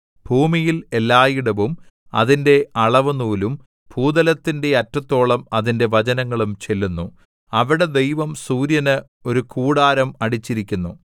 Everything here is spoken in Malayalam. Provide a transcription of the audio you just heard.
ഭൂമിയിൽ എല്ലായിടവും അതിന്റെ അളവുനൂലും ഭൂതലത്തിന്റെ അറ്റത്തോളം അതിന്റെ വചനങ്ങളും ചെല്ലുന്നു അവിടെ ദൈവം സൂര്യന് ഒരു കൂടാരം അടിച്ചിരിക്കുന്നു